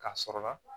K'a sɔrɔ la